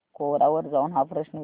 कोरा वर जाऊन हा प्रश्न विचार